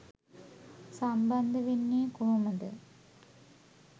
සම්බන්ධ වෙන්නේ කොහොමද?